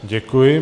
Děkuji.